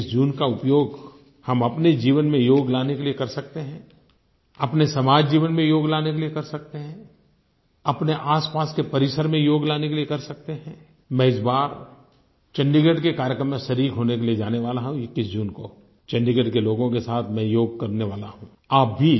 क्या 21 जून का उपयोग हम अपने जीवन में योग लाने के लिए कर सकते हैं अपने समाज जीवन में योग लाने के लिए कर सकते हैं अपने आसपास के परिसर में योग लाने के लिए कर सकते हैं मैं इस बार चंडीगढ़ के कार्यक्रम में शरीक होने के लिए जाने वाला हूँ 21 जून को चंडीगढ़ के लोगों के साथ मैं योग करने वाला हूँ